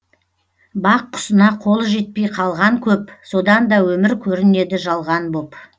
бақ құсына қолы жетпей қалған көп содан да өмір көрінеді жалған боп